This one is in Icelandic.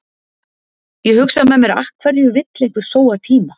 Ég hugsa með mér af hverju vill einhver sóa tíma?